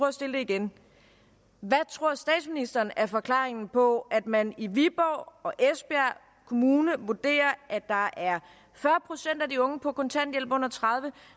at stille det igen hvad tror statsministeren er forklaringen på at man i viborg og esbjerg kommuner vurderer at der er fyrre procent af de unge på kontanthjælp under tredive